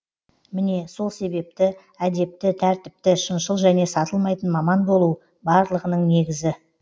міне сол себепті әдепті тәртіпті шыншыл және сатылмайтын маман болу барлығының негізі